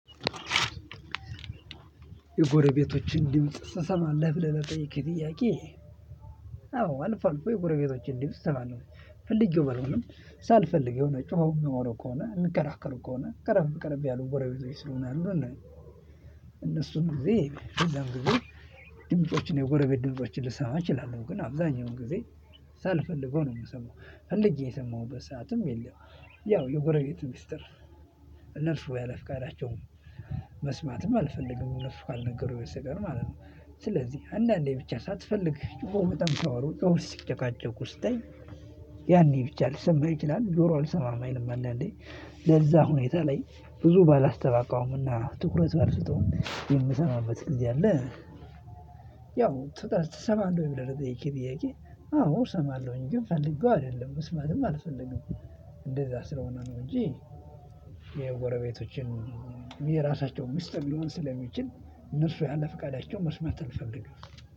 የጎረቤቶችን ድምጽ ስሰማ ለብለብ ለጠየቀኝ ከጥያቄ። አዎ አልፎ አልፎ የጎረቤቶችን ድምጽ እሰማለው። ፈልጌው በልሆንም ሳልፈልግ የሆነ ጮኸው የሚያወሩ ከሆነ እሚከራከሩ ከሆነ ቀረብ ቀረብ ያለው ጎረቤት ስለሆነ ያሉን። እነሱን ጊዜ የለም ጊዜ ድምጮችን የጎረቤት ድምጮችን ልሰማ እችላለሁ ግን አብዛኛውን ጊዜ ሳልፈልገው ነው የምሰማው ፈልጌ የሰማሁበት ሰዓትም የለም። ያው የጎረቤት ሚስጥር እነርሱ ያለ ፍቃዳቸውም መስማትም አልፈልግም እነሱ ካልነገሩኝ በስተቀር ማለት ነው። ስለዚህ አንዳንዴ ብቻ ሳትፈልግ ጭሆ በጣም ካወሩኝ ኦር ሲጨቃጨቁ ስትይ። ያኔ ብቻ ልሰማ ይችላል ጆሮ አልሰማም አይልም አንድ አንዴ ለዛ ሁኔታ ላይ ብዙ ባላስተባባውምና ትኩረት ባልሰጠውም የምሰማበት ጊዜ አለ። ትሰማለህ ብለህ ጥያቄ ጥያቄ? አዎ እሰማለሁኝ ግን ፈልገው አይደለም መስማትም አልፈልግም። እንደዛ ስለሆነ ነው እንጂ። የጎረቤቶችን የራሳቸው ሚስጥር ሊሆን ስለሚችል እነርሱ ያለ ፍቃዳቸውን መስማት አልፈልግም።